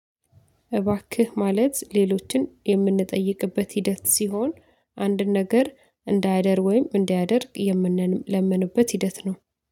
እባክህ ማለት ሌሎችን የምንጠይቅበት ሂደት ሲሆን አንድን ነገር እንዳያደርግ ወይም እንዲያደርግ የምንለምንበት ሂደት ነው